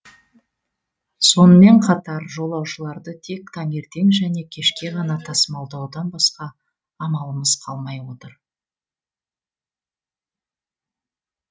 сонымен қатар жолаушыларды тек таңертең және кешке ғана тасымалдаудан басқа амалымыз қалмай отыр